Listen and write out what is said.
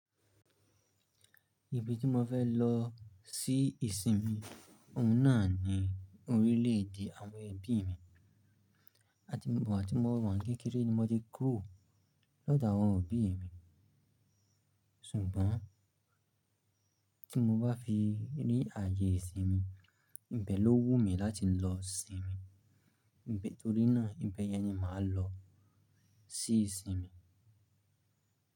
Ibi tí mo fẹ́ lọ sí ìsinmi ọ̀ún náà ni orílẹ̀ èdè àwọn ẹbí mi. Àti ìgbà tí mo wà ní kékeré ni mo ti ń kúrò lọ́dọ̀ àwọn òbí mi. Ṣùgbọ́n tí mo bá fi rí ààyè ìsinmi, ibẹ̀ ló wù mí láti lọ sinmi. Nítorí náà ibẹ̀ yẹn ni màá lọ sí ìsinmi.